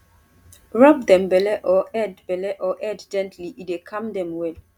rub dem belle or head belle or head gently e dey calm dem well